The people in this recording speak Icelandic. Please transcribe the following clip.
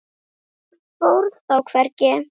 Hann fór þó hvergi.